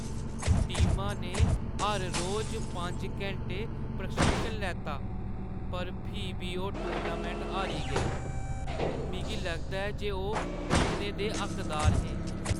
टीमा ने हर रोज पंज घैंटे प्रशिक्षण लैता पर फ्ही बी ओह् टूर्नामैंट हारी गेई। मिगी लगदा ऐ जे ओह् जित्तने दे हक्कदार हे।